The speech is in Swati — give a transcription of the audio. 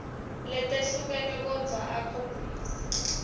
letehlukene kodvwa akhombise